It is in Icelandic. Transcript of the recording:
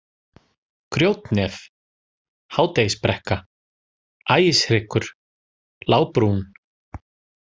Grjótnef, Hádegisbrekka, Ægishryggur, Lágbrún